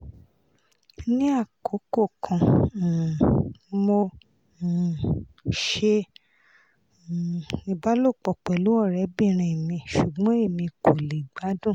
ni akoko kan um mo um ṣe um ibalopọ pẹlu ọrẹbinrin mi ṣugbọn emi ko le gbadun